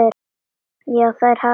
Já, þær hafa þekkst lengi.